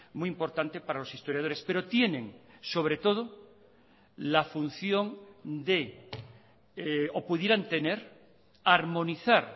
muy importante para los historiadores pero tienen sobretodo la función de o pudieran tener armonizar